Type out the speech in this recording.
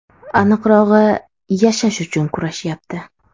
Aniqrog‘i, yashash uchun kurashyapti.